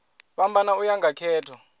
fhambana u ya nga khetho